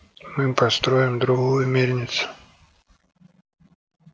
мы построим другую мельницу